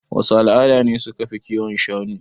Wasu al'ada ne suka fi kiwon shanu?